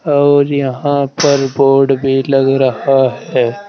और यहां पर बोर्ड भी लग रहा है।